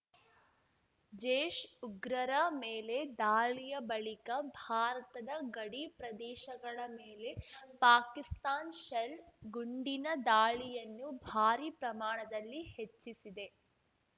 ಜೈಷ್‌ ಉಗ್ರರ ಮೇಲೆ ದಾಳಿಯ ಬಳಿಕ ಭಾರತದ ಗಡಿ ಪ್ರದೇಶಗಳ ಮೇಲೆ ಪಾಕಿಸ್ತಾನ್ ಶೆಲ್‌ ಗುಂಡಿನ ದಾಳಿಯನ್ನು ಭಾರೀ ಪ್ರಮಾಣದಲ್ಲಿ ಹೆಚ್ಚಿಸಿದೆ